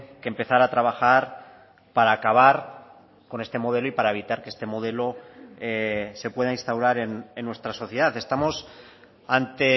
que empezar a trabajar para acabar con este modelo y para evitar que este modelo se pueda instaurar en nuestra sociedad estamos ante